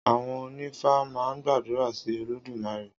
Àwon onífá maa n gbàdúrà sí Olódùmarè